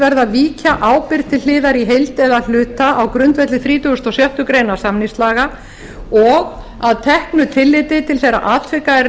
verði að víkja ábyrgð til hliðar í heild eða hluta á grundvelli þrítugasta og sjöttu grein samningslaga og að teknu tilliti til þeirra atvika er